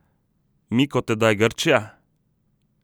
Mi kot tedaj Grčija?